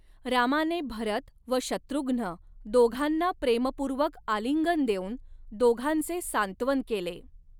रामाने भरत व शत्रुघ्न दोघांना प्रेमपूर्वक आलिंगन देऊन दोघांचे सांत्वन केले.